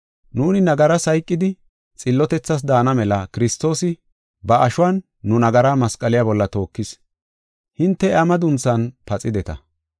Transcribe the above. Nuuni nagaras hayqidi xillotethas daana mela Kiristoosi ba ashuwan nu nagaraa masqaliya bolla tookis; hinte iya madunthan paxideta.